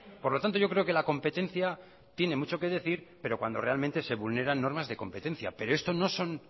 por lo tanto yo creo que la competencia tiene muchos que decir pero cuando realmente se vulneran normas de competencia pero esto no son